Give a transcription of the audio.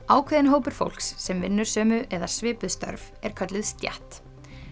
ákveðinn hópur fólks sem vinnur sömu eða svipuð störf er kölluð stétt